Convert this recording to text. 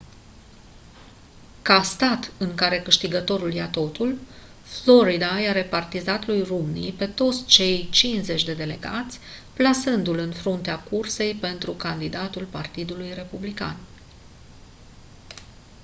ca stat în care câștigătorul ia totul florida i-a repartizat lui romney pe toți cei cincizeci de delegați plasându-l în fruntea cursei pentru candidatul partidului republican